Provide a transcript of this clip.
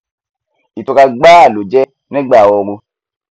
ìtura gbáà ló jẹ nígbà ooru